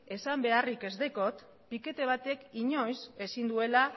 esan beharrik ez daukat pikete batek inoiz ezin duela